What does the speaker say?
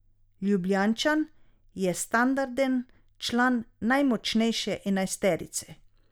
Ljubljančan je standarden član najmočnejše enajsterice.